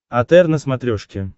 отр на смотрешке